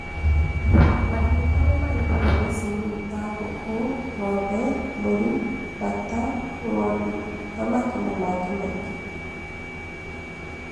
Mahiũ marĩa marĩithagio mĩciĩ-inĩ nĩ ta ngũkũ, ng'ombe, mbũri, mbata, ngondu, thamaki na mangĩ maingĩ.